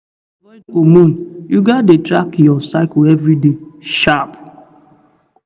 to avoid hormone you gats dey track your cycle every day sharp